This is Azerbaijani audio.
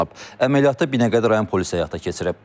Əməliyyatı Binəqədi rayon polisi həyata keçirib.